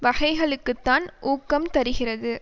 வகைகளுக்குத்தான் ஊக்கம் தருகிறது